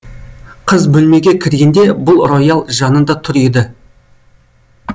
қыз бөлмеге кіргенде бұл роял жанында тұр еді